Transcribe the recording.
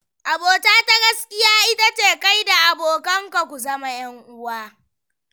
Abota ta gaskiya ita ce, kai da abokanka ku zama 'yanuwa